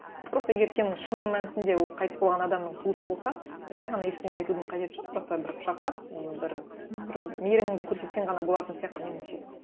просто егер сен шын мәнісінде ол қайтыс болған адамның туысы болсаң жай ғана ештеңе айтудың қажеті жоқ просто бір құшақтап ы бір бір мейіріміңді көрсетсең ғана болатын сияқты меніңше